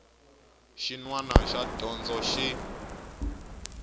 xin wana xa dyondzo xi